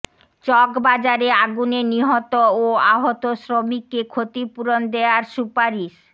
চকবাজারে আগুনে নিহত ও আহত শ্রমিককে ক্ষতিপূরণ দেয়ার সুপারিশ